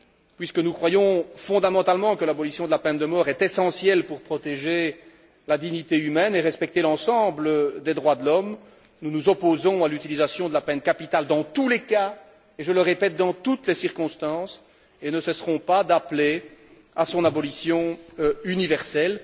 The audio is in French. Puisque nous croyons fondamentalement que l'abolition de la peine de mort est essentielle pour protéger la dignité humaine et respecter l'ensemble des droits de l'homme, nous nous opposons à l'utilisation de la peine capitale dans tous les cas et, je le répète, dans toutes les circonstances, et ne cesserons pas d'appeler à son abolition universelle.